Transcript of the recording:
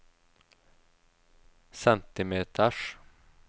centimeters